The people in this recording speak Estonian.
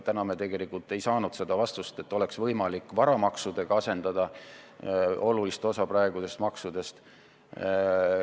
Täna me tegelikult ei saanud kinnitust, et oleks võimalik varamaksudega asendada olulist osa praegustest maksudest.